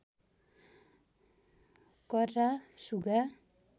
कर्रा सुगा